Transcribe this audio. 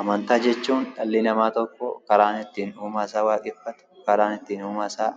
Amantaa jechuun dhalli namaa tokko karaa ittiin uumaa isaa waaqeffatu, karaa ittii uumaa isaa